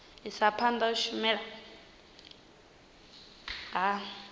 isa phanda u shumiswa ha